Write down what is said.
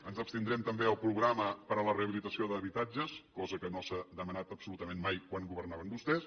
ens abstindrem també al programa per a la rehabilitació d’habitatges cosa que no s’ha demanat absolutament mai quan governaven vostès